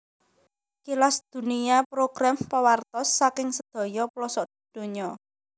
Kilas Dunia program pawartos saking sedaya plosok dunya